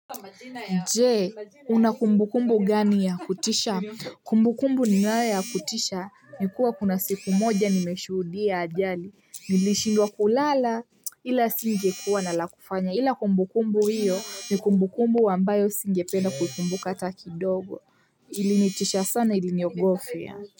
Nje una kumbu kumbu gani ya kutisha kumbu kumbu ni nayoya kutisha nikua kuna siku moja nimeshudia ajali nilishindwa kulala ila singe kuwa na la kufanya ila kumbu kumbu hiyo ni kumbu kumbu ambayo singe penda kuikumbuka hataki dogo ilinitisha sana iliniogofya.